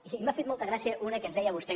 i m’ha fet molta gràcia una que ens deia vostè